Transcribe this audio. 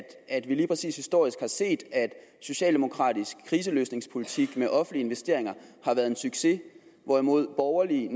at vi lige præcis historisk har set at socialdemokratisk kriseløsningspolitik med offentlige investeringer har været en succes hvorimod borgerlige